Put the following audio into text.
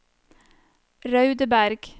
Raudeberg